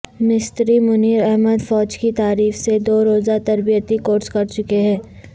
مستری منیر احمد فوج کی طرف سے دو روزہ تربیتی کورس کر چکے ہیں